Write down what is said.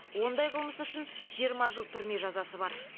ондай қылмыс үшін жиырма жыл түрме жазасы бар